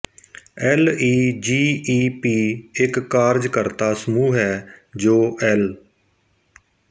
L E G E P ਇੱਕ ਕਾਰਜਕਰਤਾ ਸਮੂਹ ਹੈ ਜੋ ਐਲ